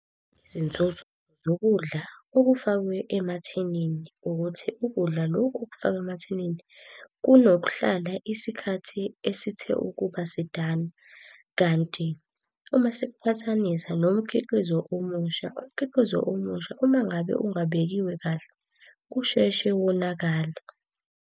Izinzuzo zokudla okufakwe emathinini ukuthi ukudla lokhu okufakwa emathinini kunokuhlala isikhathi esithe ukuba sidana. Kanti uma sikuqhathanisa nomkhiqizo omusha, umkhiqizo omusha, uma ngabe ungabekiwe kahle, usheshe wonakale.